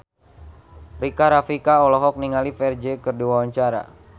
Rika Rafika olohok ningali Ferdge keur diwawancara